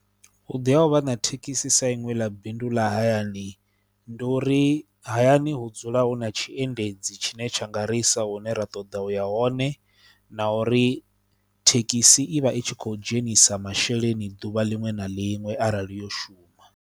Vhuḓi ha u vha na thekhisi sa iṅwe ḽa bindu ḽa hayani ndi uri hayani hu dzula hu na tshiendedzi tshine tsha nga ri i sa hune ra ṱoḓa u ya hone na uri thekhisi i vha i tshi khou dzhenisa masheleni ḓuvha liṅwe na liṅwe arali yo shuma.